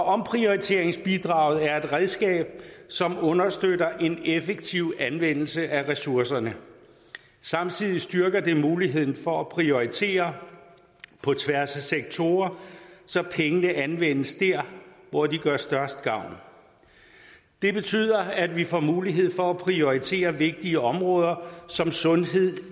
omprioriteringsbidraget er nemlig et redskab som understøtter en effektiv anvendelse af ressourcerne samtidig styrker det muligheden for at prioritere på tværs af sektorer så pengene anvendes dér hvor de gør størst gavn det betyder at vi får mulighed for at prioritere vigtige områder som sundhed